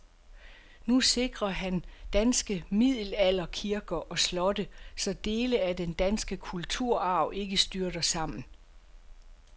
Nu sikrer han danske middelalderkirker og slotte, så dele af den danske kulturarv ikke styrter sammen.